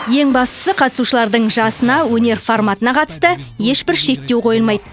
ең бастысы қатысушылардың жасына өнер форматына қатысты ешбір шектеу қойылмайды